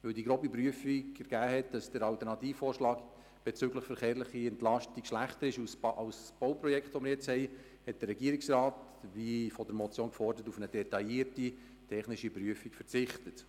Weil die grobe Prüfung ergeben hat, dass der Alternativvorschlag bezüglich der verkehrlichen Entlastung schlechter ist als beim Bauprojekt, das wir jetzt haben, hat der Regierungsrat – wie in der Motion gefordert – auf eine detaillierte, technische Prüfung verzichtet.